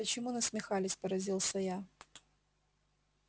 почему насмехались поразился я